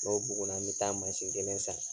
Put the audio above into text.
N'o bugunna n bɛ taa kelen san.